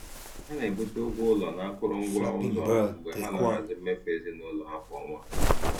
Ha na-ebute ụgwọ ụlọ na akụrụngwa ụzọ mgbe ha na-ahazi mmefu ezinụlọ ha kwa ọnwa.